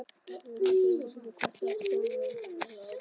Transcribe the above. Ég veit ekki einu sinni hvort Stórfurstanum er alvara.